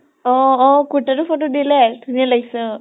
অ অ কুৰ্তাটোৰ photo দিলে, ধুনীয়া লাগিছে অ।